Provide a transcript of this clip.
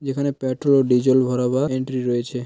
যেখানে পেট্রোল ও ডিজেল ভরাবার এন্ট্রি রয়েছে।